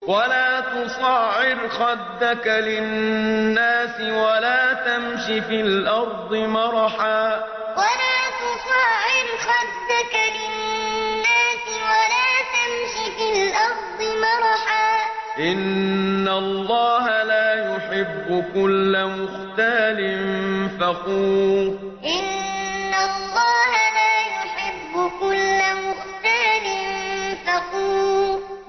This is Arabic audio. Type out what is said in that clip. وَلَا تُصَعِّرْ خَدَّكَ لِلنَّاسِ وَلَا تَمْشِ فِي الْأَرْضِ مَرَحًا ۖ إِنَّ اللَّهَ لَا يُحِبُّ كُلَّ مُخْتَالٍ فَخُورٍ وَلَا تُصَعِّرْ خَدَّكَ لِلنَّاسِ وَلَا تَمْشِ فِي الْأَرْضِ مَرَحًا ۖ إِنَّ اللَّهَ لَا يُحِبُّ كُلَّ مُخْتَالٍ فَخُورٍ